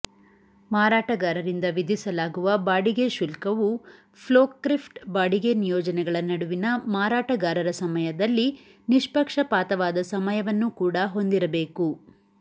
ಮಾರಾಟಗಾರರಿಂದ ವಿಧಿಸಲಾಗುವ ಬಾಡಿಗೆ ಶುಲ್ಕವು ಫೋರ್ಕ್ಲಿಫ್ಟ್ ಬಾಡಿಗೆ ನಿಯೋಜನೆಗಳ ನಡುವಿನ ಮಾರಾಟಗಾರರ ಸಮಯದಲ್ಲಿ ನಿಷ್ಪಕ್ಷಪಾತವಾದ ಸಮಯವನ್ನು ಕೂಡಾ ಹೊಂದಿರಬೇಕು